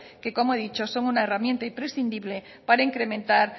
que como he dicho son una herramienta imprescindible para incrementar